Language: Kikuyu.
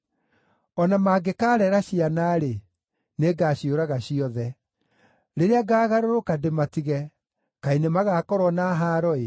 O na mangĩkaarera ciana-rĩ, nĩngaciũraga ciothe. Rĩrĩa ngaagarũrũka ndĩmatige, kaĩ nĩmagakorwo na haaro-ĩ!